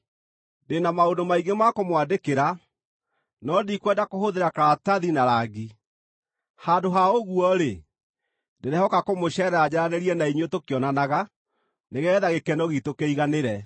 Ndĩ na maũndũ maingĩ ma kũmwandĩkĩra, no ndikwenda kũhũthĩra karatathi na rangi. Handũ ha ũguo-rĩ, ndĩrehoka kũmũceerera njaranĩrie na inyuĩ tũkĩonanaga, nĩgeetha gĩkeno giitũ kĩiganĩre.